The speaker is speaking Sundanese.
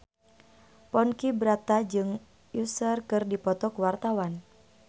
Ponky Brata jeung Usher keur dipoto ku wartawan